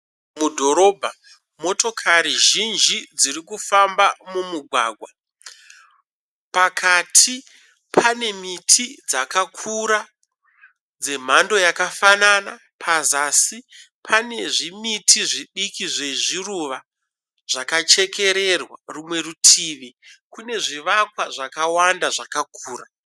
Mudhorobha, motokari zhinji dziri kufamba mumugwagwa. Pakati pane miti dzakakura dzemhando yakafanana. Pazasi pane zvimiti zvidiki zvezviruva zvakachekererwa, rumwe rutivi kune zvivakwa zvakawanda zvakakura.